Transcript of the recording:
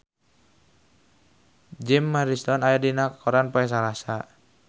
Jim Morrison aya dina koran poe Salasa